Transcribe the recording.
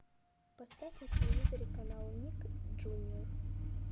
поставь на телевизоре канал ник джуниор